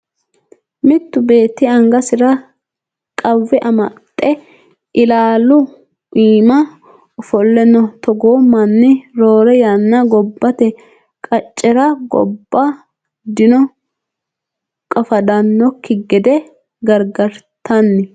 Mittu beeti angasira qawwe amade ilaalu iima ofolle no. Togo manni roore yanna gobbate qaccera gobba dino qafadannoki gede gargartanni.